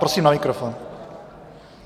Prosím na mikrofon.